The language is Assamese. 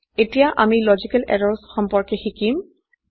এতিয়া আমি লজিকেল এৰৰ্ছ সম্পৰ্কে শিকিম